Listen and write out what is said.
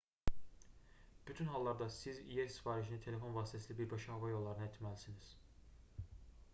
bütün hallarda siz yer sifarişini telefon vasitəsilə birbaşa hava yollarından etməlisiniz